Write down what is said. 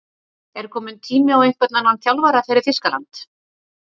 Er kominn tími á einhvern annan þjálfara fyrir Þýskaland?